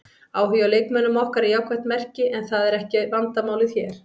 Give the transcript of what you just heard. Áhugi á leikmönnum okkar er jákvætt merki en það er ekki vandamálið hér.